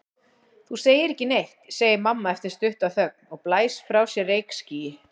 Þú segir ekki neitt, segir mamma eftir stutta þögn og blæs frá sér reykskýi.